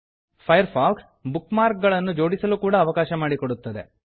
fire fox bookmark ಗಳನ್ನು ಜೋಡಿಸಲು ಕೂಡಾ ಅವಕಾಶ ಮಾಡಿಕೊಡುತ್ತದೆ